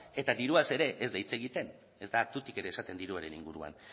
eta diruaz ere ez da hitz egiten ez da tutik ere esaten diruaren inguruan